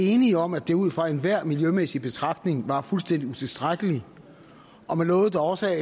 enige om at det ud fra enhver miljømæssig betragtning var fuldstændig utilstrækkeligt og man lovede da også